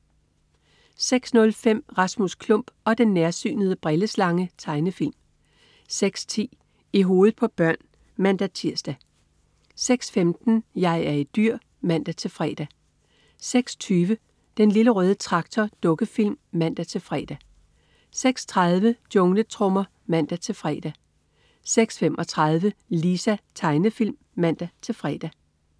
06.05 Rasmus Klump og den nærsynede brilleslange. Tegnefilm 06.10 I hovedet på børn (man-tirs) 06.15 Jeg er et dyr! (man-fre) 06.20 Den Lille Røde Traktor. Dukkefilm (man-fre) 06.30 Jungletrommer (man-fre) 06.35 Lisa. Tegnefilm (man-fre)